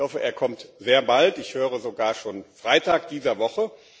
Ich hoffe, er kommt sehr bald, ich höre sogar, schon Freitag dieser Woche.